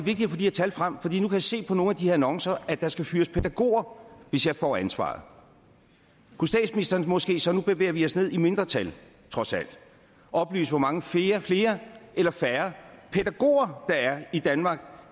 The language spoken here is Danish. her tal frem fordi nu kan jeg se på nogle af de annoncer at der skal fyres pædagoger hvis jeg får ansvaret kunne statsministeren måske så nu bevæger vi os ned i mindre tal trods alt oplyse hvor mange flere flere eller færre pædagoger der er i danmark